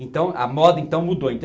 Então, a moda, então, mudou.